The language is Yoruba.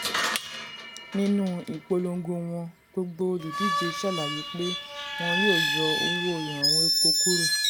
nínú ìpolongo wọn gbogbo olùdíje ṣàlàyé pé wọn yóò yọ owó ìrànwọ́ epo kúrò.